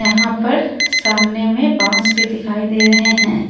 यहां पर सामने में बांस भी दिखाई दे रहे हैं।